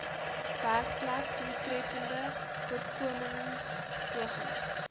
werkplek doeltreffende voorkomingspogings